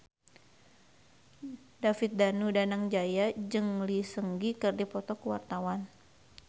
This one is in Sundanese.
David Danu Danangjaya jeung Lee Seung Gi keur dipoto ku wartawan